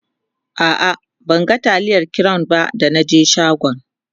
a'a ban ga taliyar crown ba da na je shagon